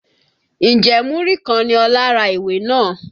Ǹjẹ́ múrí kan ni Ọlá ra ìwé náà?